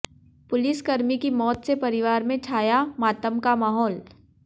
पुलिसकर्मी की मौत से परिवार में छाया मातम का माहौल